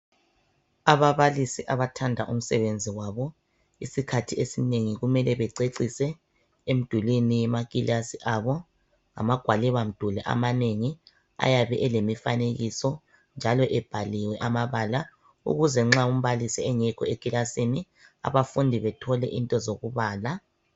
Ababalisi abathanda umsebenzi wabo isikhathi esinengi kumele bececise emdulwini wemakilasi abo. Amagwalibamduli amanengi ayabe elemifanekiso njalo ebhaliwe amabala ukuze nxa umbalisi engekho ekilasini abafundi bethole into zokubala.